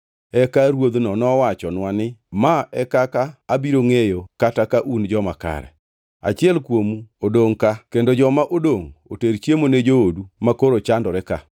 “Eka ruodhno nowachonwa ni, ‘Ma e kaka abiro ngʼeyo kata ka un joma kare: Achiel kuomu odongʼ ka kendo joma odongʼ oter chiemo ne joodu makoro chandore ka.